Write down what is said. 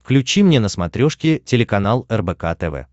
включи мне на смотрешке телеканал рбк тв